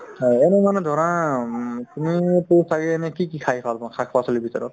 অ, এনে মানে ধৰা উম তুমিওতো ছাগে এনে কি কি খাই ভাল পোৱা শাক-পাচলিৰ ভিতৰত